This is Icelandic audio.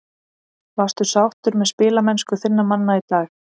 Varstu sáttur með spilamennsku þinna manna í dag?